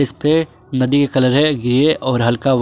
पे नदी का कलर है ग्रे और हल्का व्हा--